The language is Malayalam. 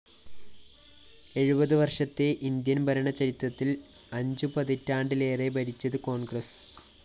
എഴുപത് വര്‍ഷത്തെ ഇന്ത്യന്‍ ഭരണചരിത്രത്തില്‍ അഞ്ചുപതിറ്റാണ്ടിലേറെ ഭരിച്ചത് കോണ്‍ഗ്രസ്